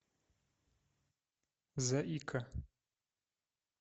заика